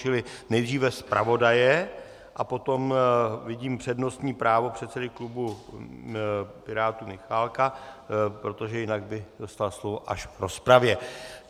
Čili nejdříve zpravodaje a potom vidím přednostní právo předsedy klubu Pirátů Michálka, protože jinak by dostal slovo až v rozpravě.